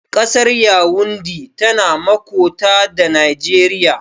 Ƙasar yawundi tana makota da Nageriya